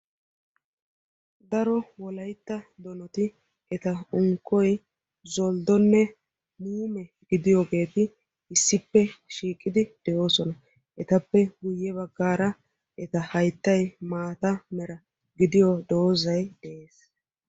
daro wolaytta donoti eta unkkoy zolddonne muume gidiyoogeeti issippe shiiqidi doosona. Etappe guyye baggaara eta hayttay maata mera giddiyo doozay de'ees.